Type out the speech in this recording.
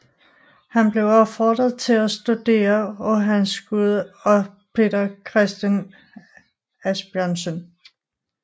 Han blev opfordret til at studere af Hans Gude og Peter Christen Asbjørnsen